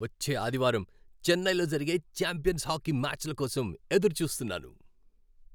వచ్చే ఆదివారం చెన్నైలో జరిగే ఛాంపియన్స్ హాకీ మ్యాచ్ల కోసం ఎదురుచూస్తున్నాను.